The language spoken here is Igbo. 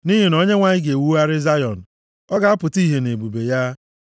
Nʼihi na Onyenwe anyị ga-ewugharị Zayọn, ọ ga-apụta ihe nʼebube ya.